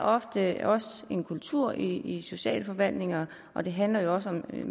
ofte en kultur i socialforvaltningerne og det handler jo også om at